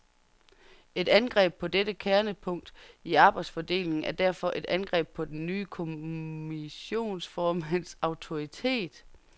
Et angreb på dette kernepunkt i arbejdsfordelingen er derfor et angreb på den nye kommissionsformands autoritet.